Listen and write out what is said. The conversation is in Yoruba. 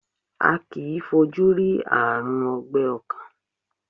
A kìí fojú rí Ààrùn ọgbẹ́ ọkàn.